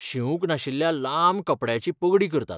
शिवूंक नाशिल्ल्या लांब कपड्याची पगडी करतात.